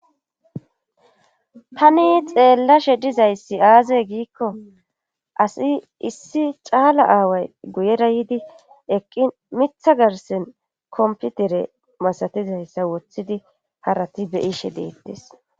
tani xeellashe dizayssi aazey giikko asi issi caala aaway guyera yiidi eqqi mitha garsen komputere masatizayssa woththidi harati beyishe deettes